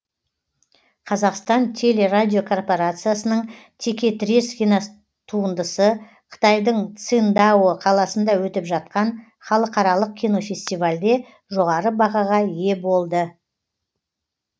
қазақстан телерадиокорпорациясының текетірес киностуындысы қытайдың циндао қаласында өтіп жатқан халықаралық кинофестивальде жоғары бағаға ие болды